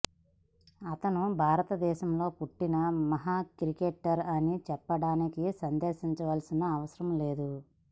అతను భారతదేశంలో పుట్టిన మహా క్రికెటర్ అని చెప్పడానికి సందేహించాల్సిన అవసరం లేదు